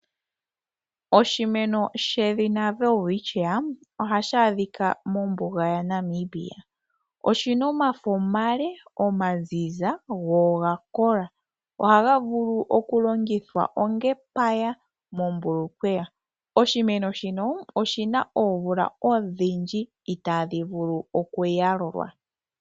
Oshimeno shedhina Welwitchia ohashi adhika mombuga yaNamibia. Oshi na omafo omale, omazize go oga kola. Ohaga vulu okulongithwa onga epaya mombulukweya. Oshimeno shino oshi na oomvula odhindji itaadhi vulu okuyalulwa.